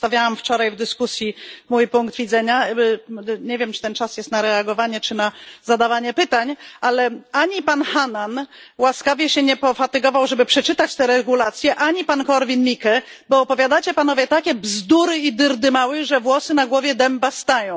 Już przedstawiałam wczoraj w dyskusji mój punkt widzenia. Nie wiem, czy ten czas jest na reagowanie, czy na zadawanie pytań, ale ani pan Hannan łaskawie się nie pofatygował, żeby przeczytać to sprawozdanie, ani pan Korwin Mikke, bo opowiadacie panowie takie bzdury i dyrdymały, że włosy na głowie dęba stają.